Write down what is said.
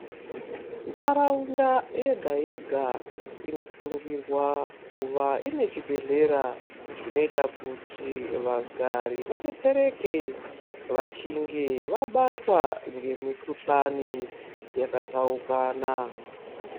Ntharaunda yega yega inosungirwa kuva ine chibhedhlera zvinoita kuti vagari vadetsereke vachinge vabatwa ngemikhuhlani yakatsaukana.